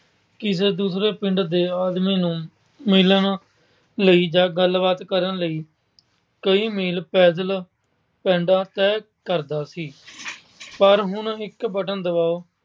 ਕਿਸੇ ਦੂਸਰੇ ਪਿੰਡ ਦੇ ਆਦਮੀ ਨੂੰ ਮਿਲਣ ਲਈ ਜਾਂ ਗੱਲਬਾਤ ਕਰਨ ਲਈ ਕਈ ਮੀਲ ਪੈਦਲ ਪੈਂਡਾ ਤੈਅ ਕਰਦਾ ਸੀ ਪਰ ਹੁਣ ਇੱਕ button ਦਬਾਓ